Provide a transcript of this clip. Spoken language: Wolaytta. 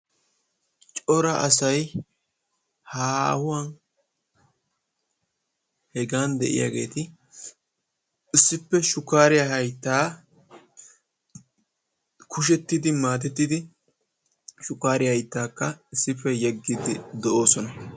Cora asay haahuwan hegan de'iyageeti issippe shukkaariya hayttaa kushettidi, maadettidi shukkaariya hayttaakka issippe yeggiiddi de'oosona.